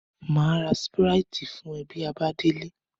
Maa ra sipiriti fun o bi a ba dele.